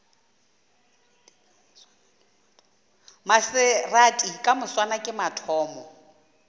maserati ka moswane ke mathomo